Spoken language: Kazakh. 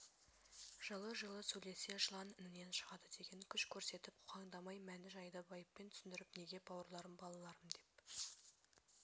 жылы-жылы сөйлесе жылан інінен шығады деген күш көрсетіп қоқаңдамай мән-жайды байыппен түсіндіріп неге бауырларым балаларым деп